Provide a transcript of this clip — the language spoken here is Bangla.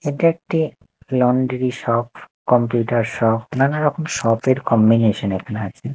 এটা একটি লন্ড্রি শপ কম্পিউটার শপ নানারকম শপ -এর কম্বিনেশন এখানে আছে।